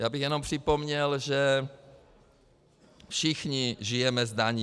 Já bych jenom připomněl, že všichni žijeme z daní.